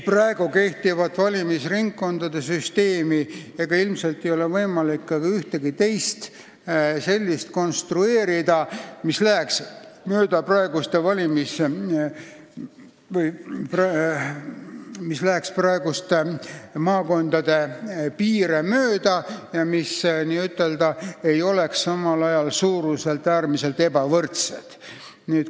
Praegu kehtiv valimisringkondade süsteem ei ole selline ja ilmselt ei ole võimalik konstrueerida ka ühtegi teist sellist, et ringkonnad läheksid praeguste maakondade piire mööda ega oleks samal ajal suuruselt äärmiselt ebavõrdsed.